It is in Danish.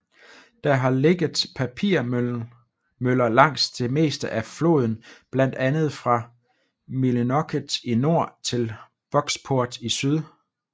Der har ligget papirmøller langs det meste af floden blandt andet fra Millinocket i nord til Bucksport i syd